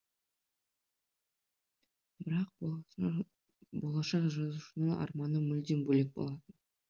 бірақ болашақ жазушының арманы мүлдем бөлек болатын